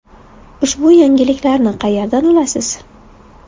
Ushbu yangiliklarni qayerdan olasiz?”.